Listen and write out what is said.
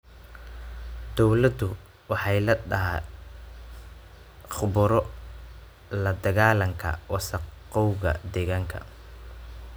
Dawladdu waxay la�dahay khubaro la dagaalanta wasakhowga deegaanka.